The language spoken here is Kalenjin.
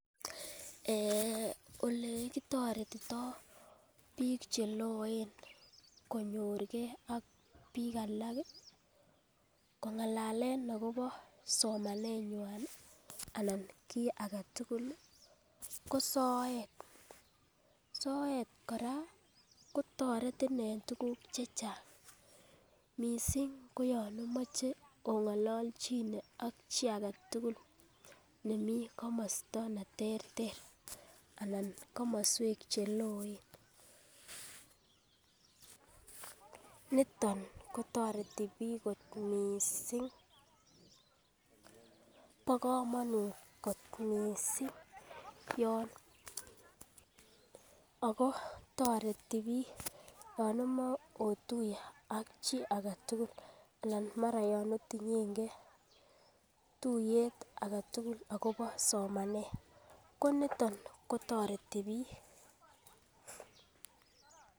Ee olekitoretito bik cheloen konyorugee ak bik alak kongalalen akobo somenywan anan kit agetutuk ko soet. Soet kora kotoreti en tukuk chechang missing koyon omoche ingololjine ak chii agetutuk nemii komosto neterter anan komoswek cheloen, niton kotoreti bik kot missing. Bo komonut kot missing yon Ako toreti bik yon omoche otuye am chii agetutuk mara yon Otinyengee tuyet agetutuk akobo somanet ko niton kotoreti bik.